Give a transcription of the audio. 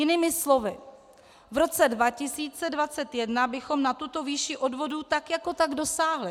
Jinými slovy, v roce 2021 bychom na tuto výši odvodů tak jako tak dosáhli.